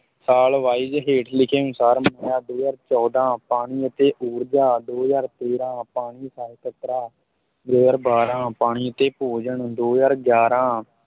ਸਾਲ wise ਹੇਠ ਲਿਖੇ ਅਨੁਸਾਰ ਦੋ ਹਜ਼ਾਰ ਚੌਦਾਂ ਪਾਣੀ ਅਤੇ ਉਰਜਾ ਦੋ ਹਜ਼ਾਰ ਤੇਰਾਂ ਪਾਣੀ ਸਹਿਕਾਰਤਾ, ਦੋ ਹਜ਼ਾਰ ਬਾਰਾਂ ਪਾਣੀ ਅਤੇ ਭੋਜਨ, ਦੋ ਹਜ਼ਾਰ ਗਿਆਰਾਂ